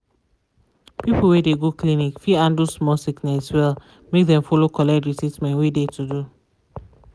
people wey de go clinic fit handle small sickness well make dem follow collect de treatment wey de to do.